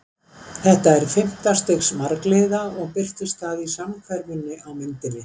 Þetta er fimmta stigs margliða og birtist það í samhverfunni í myndinni.